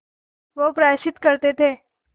वे प्रायश्चित करते थे